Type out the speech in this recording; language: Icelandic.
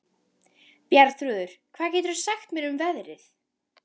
Bjarnþrúður, hvað geturðu sagt mér um veðrið?